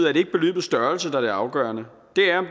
er det ikke beløbets størrelse der er det afgørende det er